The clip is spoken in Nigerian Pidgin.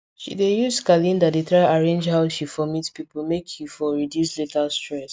she dey use calendar dey try arrange how she for meet people make e for reduce later stress